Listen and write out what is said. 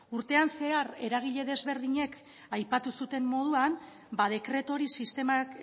urtean zehar eragile ezberdinek aipatu zuten moduan ba dekretu hori